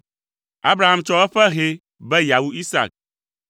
Abraham tsɔ eƒe hɛ be yeawu Isak.